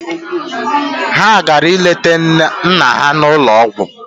Ha gara ileta nna ha n'ụlọ ọgwụ.